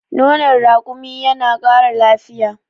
nonon rakumi yana Kara lafiya